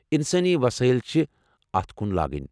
انسٲنی وسٲیل چھِ اتھ کُن لاگٕنۍ ۔